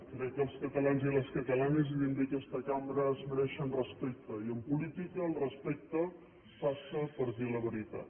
crec que els catalans i les catalanes i també aquesta cambra es mereixen respecte i en política el respecte passa per dir la veritat